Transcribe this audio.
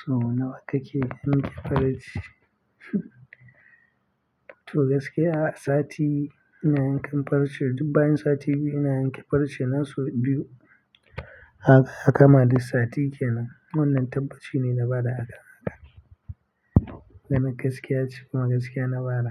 To nawa kake yanke farce? To gaskiya sati ina yankan farce, dubban sati biyu ina yanke farce na sau biyu. Hak, haka ma duk sati kenan. Wannan tabbaci ne na bada haka, haka. Domin gaskiya ce kuma gaskiya na bada.